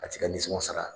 A t'i ka nisɔngo sara